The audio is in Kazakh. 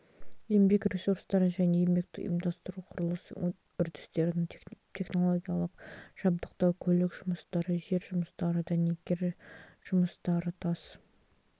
еңбек ресурстары және еңбекті ұйымдастыру құрылыс үрдістерін технологиялық жабдықтау көлік жұмыстары жер жұмыстары дәнекер жұмыстары тас